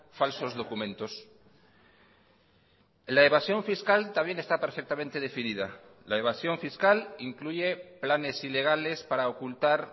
falsos documentos la evasión fiscal también está perfectamente definida la evasión fiscal incluye planes ilegales para ocultar